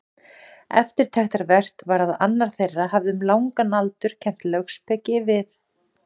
Eftirtektarvert var að annar þeirra hafði um langan aldur kennt lögspeki við